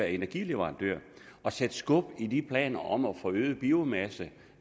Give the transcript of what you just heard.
energileverandør og sætte skub i de planer om at få øget biomasse